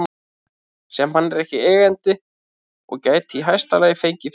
sem hann er ekki eigandi að og gæti í hæsta lagi fengið fyrir